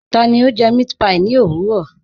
Tani o jẹ mẹ̀àtpí ní ọ̀wurọ̀?